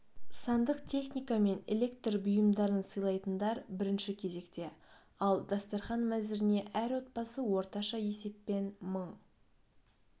сандық техника мен электр бұйымдарын сыйлайтындар бірінші кезекте ал дастархан мәзіріне әр отбасы орташа есеппен мың